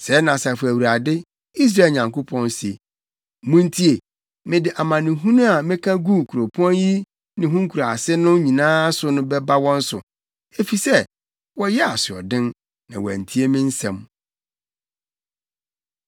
“Sɛɛ na Asafo Awurade, Israel Nyankopɔn se, ‘Muntie! Mede amanehunu a meka guu kuropɔn yi ne ho nkuraase no nyinaa so no bɛba wɔn so, efisɛ wɔyɛɛ asoɔden, na wɔantie me nsɛm.’ ”